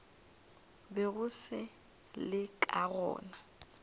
bego se le ka gona